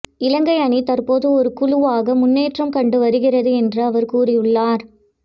இலங்கை அணி தற்போது ஒரு குழுவாக முன்னேற்றம் கண்டு வருகிறது என்று அவர் கூறியுள்ளார்